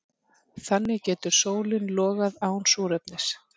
Þannig getur sólin logað án súrefnis.